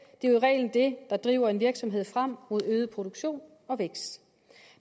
det er i reglen det der driver en virksomhed frem mod øget produktion og vækst